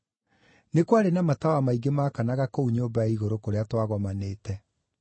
Nĩ kwarĩ na matawa maingĩ maakanaga kũu nyũmba ya igũrũ kũrĩa twagomanĩte.